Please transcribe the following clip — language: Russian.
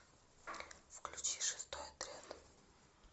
включи шестой отряд